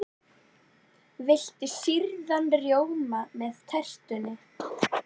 Viltu sýrðan rjóma með tertunni?